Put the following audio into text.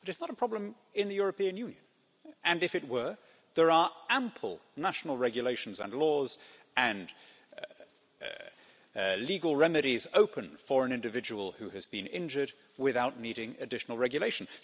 But it is not a problem in the European Union and if it were, there are ample national regulations and laws and legal remedies open for an individual who has been injured without needing additional regulation.